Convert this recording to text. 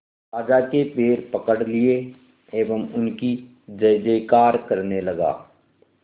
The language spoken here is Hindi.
राजा के पैर पकड़ लिए एवं उनकी जय जयकार करने लगा